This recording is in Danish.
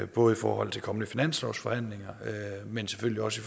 både i forhold til kommende finanslovsforhandlinger men selvfølgelig også